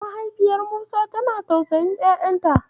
Mahaifiyar Musa tana tausayin ƴaƴanta.